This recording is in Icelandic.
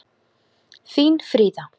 Þín Fríða.